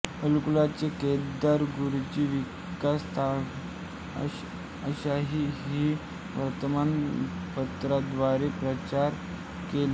अकोल्याचे केदार गुरूजी किसान ताकवले अशांनी ही वर्तमान पत्राद्वारे प्रचार केला